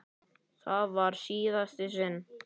Það var í síðasta sinn.